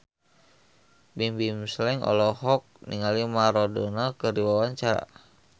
Bimbim Slank olohok ningali Maradona keur diwawancara